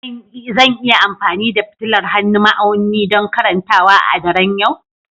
Zan iya amfani da fitilar hannun ma'auni don karantawa a daren yau?